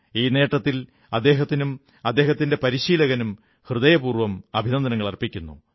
ഈ നേട്ടത്തിൽ അദ്ദേഹത്തിനും അദ്ദേഹത്തിന്റെ പരിശീലകനും ഹൃദയപൂർവ്വം അഭിനന്ദനങ്ങളർപ്പിക്കുന്നു